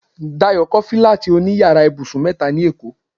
Dayo kọ́ fílátì òní yàrá ibùsùn mẹ́ta ní èkó